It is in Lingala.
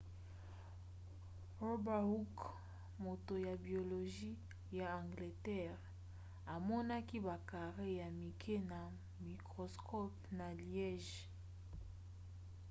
robert hooke moto ya biologie ya angleterre amonaki ba carrés ya mike na microscope na liège